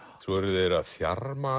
svo eru þeir að þjarma